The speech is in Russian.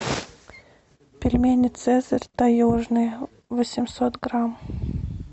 пельмени цезарь таежные восемьсот грамм